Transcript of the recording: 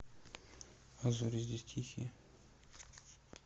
а зори здесь тихие